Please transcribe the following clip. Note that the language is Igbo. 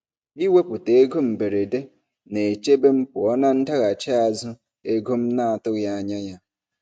Iwepụta ego mberede na-echebe m pụọ na ndaghachi azụ ego m na-atụghị anya ya.